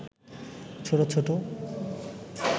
ছোট ছোট